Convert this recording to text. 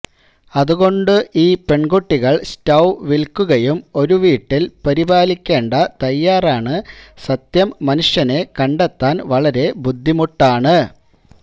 അതുകൊണ്ടു ഈ പെൺകുട്ടികൾ സ്റ്റൌ നിൽക്കുകയും ഒരു വീട്ടിൽ പരിപാലിക്കേണ്ട തയ്യാറാണ് സത്യം മനുഷ്യനെ കണ്ടെത്താൻ വളരെ ബുദ്ധിമുട്ടാണ്